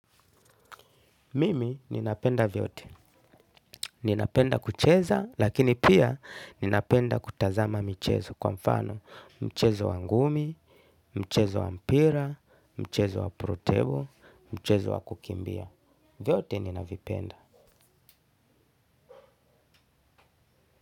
Mimi ninapenda vyote. Ninapenda kucheza lakini pia ninapenda kutazama michezo kwa mfano mchezo wa ngumi, mchezo wa mpira, mchezo wa pro table, mchezo wa kukimbia. Vyote ninapenda.